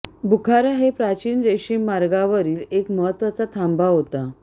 बुखारा हे प्राचीन रेशीम मार्गावरील एक महत्त्वाचा थांबा होता